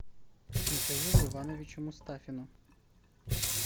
михаилу ивановичу мустафину